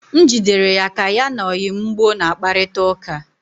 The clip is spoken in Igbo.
M jidere ya ka ya na oyi m gboo na kparịta ụka